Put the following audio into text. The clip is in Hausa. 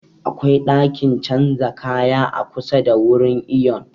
Akwai ɗakin canza kaya a kusa da wurin iyon